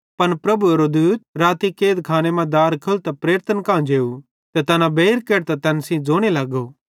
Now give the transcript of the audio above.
पन प्रभुएरो राती स्वर्गदूत कैदखाने मां दार खोलतां प्रेरितन कां जेव ते तैना बेइर केढतां तैन सेइं ज़ोने लगो